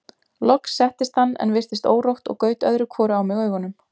Loks settist hann en virtist órótt og gaut öðru hvoru á mig augunum.